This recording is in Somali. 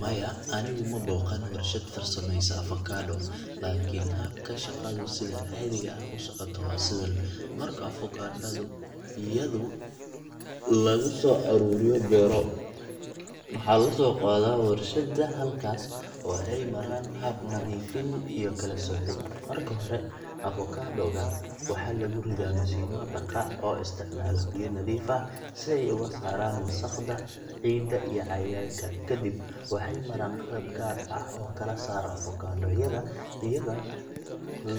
Maya, anigu ma booqan warshad farsameysa avocado, laakiin habka shaqadu sida caadiga ah u socoto waa sidan: Marka avocado yada laga soo ururiyo beero, waxaa loo soo qaadaa warshadda halkaas oo ay maraan hab nadiifin iyo kala soocid. Marka hore, avocado ga waxaa lagu ridaa mashiinno dhaqa oo isticmaala biyo nadiif ah si ay uga saaraan wasakhda, ciidda, iyo cayayaanka. Kadib, waxay maraan qalab gaar ah oo kala saara avocado yada iyadoo